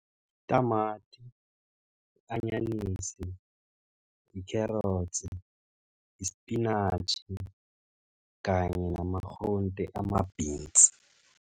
Itamati, i-anyanisi, i-carrots, isipinatjhi kanye nama-groente ama-beans.